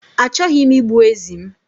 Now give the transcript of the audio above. Achọghị m igbu ezi m.